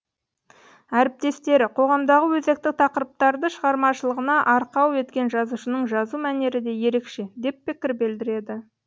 әріптестері қоғамдағы өзекті тақырыптарды шығармашылығына арқау еткен жазушының жазу мәнері де ерекше деп пікір білдіреді